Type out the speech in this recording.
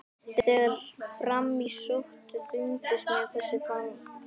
En þegar fram í sótti þyngdist mér þessi framkvæmd.